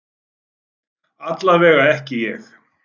Allavega ekki ég.